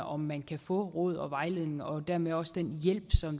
om man kan få råd og vejledning og dermed også den hjælp